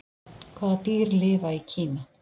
Hvaða dýr lifa í Kína?